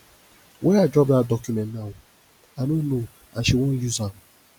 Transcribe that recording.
where i drop dat document now i no know and she wan use am